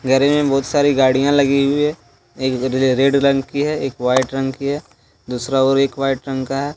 गरेज में बहुत सारी गाड़ियां लगी हुई है एक र रेड रंग की है। एक वाइट रंग की है दूसरा और एक वाइट रंग का है।